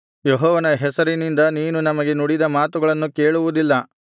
ಯೆಹೋವನ ಹೆಸರಿನಿಂದ ನೀನು ನಮಗೆ ನುಡಿದ ಮಾತುಗಳನ್ನು ಕೇಳುವುದಿಲ್ಲ